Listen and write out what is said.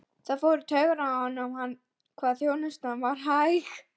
Það fór í taugarnar á honum hvað þjónustan var hæg.